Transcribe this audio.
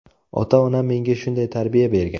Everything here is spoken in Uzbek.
Ota-onam menga shunday tarbiya bergan”.